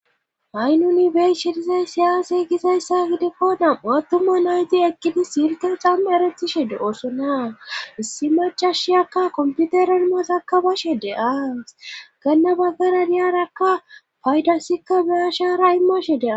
haynuni bey shhedizay siyaasey gizayssa gidifoonam u attuma nayti ekkidi silka xamme eretishe de7oosona issi macashiyakka komputeranmasaka bashe deas ganna baggara niyarakka paydasikka beya shaara immashe dea